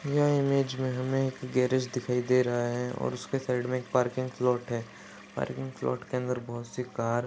यह इमेज मे हमे एक गैराज दिखाई दे रहा है और उसके साइड मे एक पार्किंग स्लॉट है पार्किंग स्लॉट के अंदर बहुत सी कार --